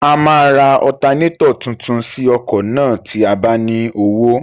A máa ra ọtanẹ́tọ̀ tuntun sí ọkọ̀ náà tí a bá ní owó.